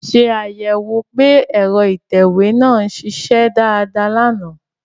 Ṣé àyẹ̀wò pé ẹ̀rọ ìtẹ̀wé náà ń ṣiṣẹ́ dáadáa lánàá